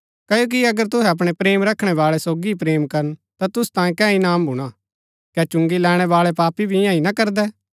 क्ओकि अगर तुहै अपणै प्रेम रखणै बाळै सोगी ही प्रेम करन ता तुसु तांयें कै इनाम भूणा कै चुंगी लैणैं बाळै पापी भी ईयां ही ना करदै